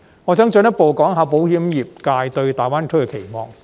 我想進一步談談保險業界對大灣區的期望。